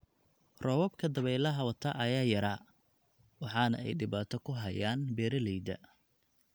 Roobabka dabeylaha wata ayaa yaraa, waxaana ay dhibaato ku hayaan beeralayda.